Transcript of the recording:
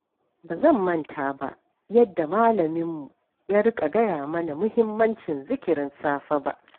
Ba zan manta ba yadda malaminmu ya riƙa gaya mana muhimmancin zikirin safe ba